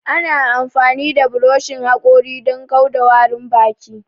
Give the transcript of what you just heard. Ana amfani da buroshin haƙori don kau da warin baki